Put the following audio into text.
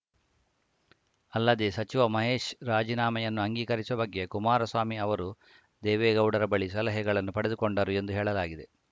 ಅಲ್ಲದೇ ಸಚಿವ ಮಹೇಶ್‌ ರಾಜೀನಾಮೆಯನ್ನು ಅಂಗೀಕರಿಸುವ ಬಗ್ಗೆ ಕುಮಾರಸ್ವಾಮಿ ಅವರು ದೇವೇಗೌಡರ ಬಳಿ ಸಲಹೆಗಳನ್ನು ಪಡೆದುಕೊಂಡರು ಎಂದು ಹೇಳಲಾಗಿದೆ